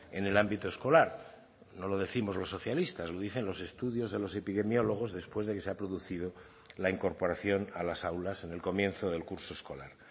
en el ámbito escolar no lo décimos los socialistas lo dicen los estudios de los epidemiólogos después de que se ha producido la incorporación a las aulas en el comienzo del curso escolar